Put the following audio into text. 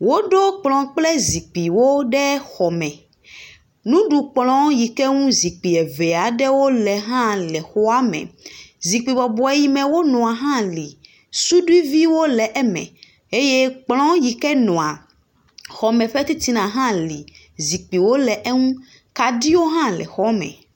Woɖo kplɔ kple zikpuiwo ɖe xɔme. Nuɖukplɔ yi ke ŋu zikpui eve aɖewo le hã le xa me. Zikpui bɔbɔ yi me nɔa hã li. Suduiviwo le eme eye kplɔ yi ke nɔa xɔ me titina hã li zikpuiwo le eŋu. Kaɖiwo hã le xɔa me.